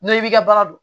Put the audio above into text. N'i b'i ka baara don